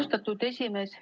Austatud esimees!